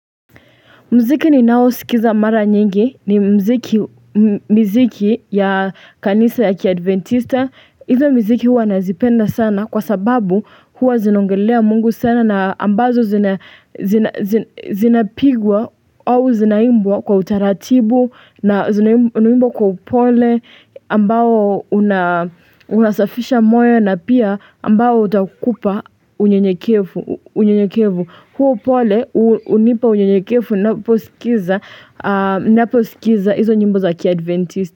Mziki ninao sikiza mara nyingi ni mziki ya kanisa ya kiadventista. Hizo mziki huwa nazipenda sana kwa sababu huwa zinongelea mungu sana na ambazo zinapigwa au zinaimbwa kwa utaratibu na zinaimbwa kwa upole ambao una unasafisha moyo na pia ambao utakupa unyenyekevu. Unyekevu huo upole hunipa unyenyekevu naposikiza naposikiza hizo nyimbo za kiadventista.